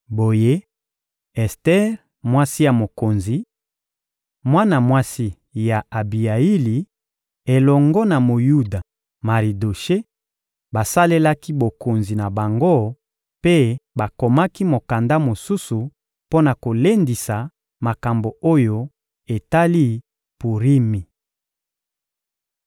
Boye, Ester, mwasi ya mokonzi, mwana mwasi ya Abiyaili, elongo na Moyuda Maridoshe, basalelaki bokonzi na bango mpe bakomaki mokanda mosusu mpo na kolendisa makambo oyo etali Purimi.